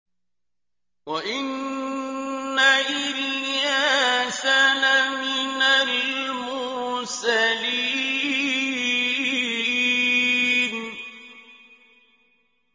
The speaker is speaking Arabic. وَإِنَّ إِلْيَاسَ لَمِنَ الْمُرْسَلِينَ